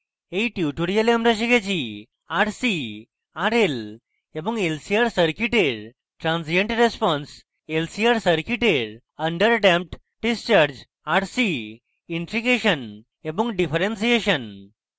in tutorial আমরা শিখেছি